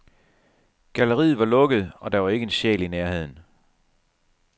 Galleriet var lukket, og der var ikke en sjæl i nærheden.